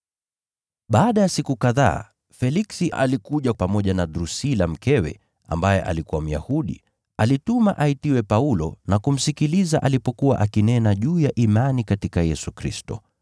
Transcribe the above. Baada ya siku kadhaa, Feliksi alikuja pamoja na Drusila mkewe, ambaye alikuwa Myahudi. Alituma aitiwe Paulo, naye akamsikiliza alipokuwa akinena juu ya imani katika Kristo Yesu.